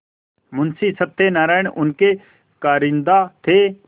मुंशी सत्यनारायण उनके कारिंदा थे